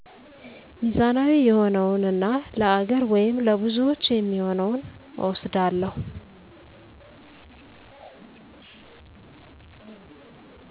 ሚዛናዊ የሆነውን እና ለሃገር ወይም ለብዙዎች የሚሆነውን እወስዳለሁ።